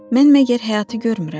Mən məgər həyatı görmürəm?